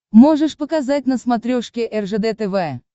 можешь показать на смотрешке ржд тв